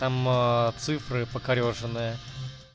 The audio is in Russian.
там цифры покорёженные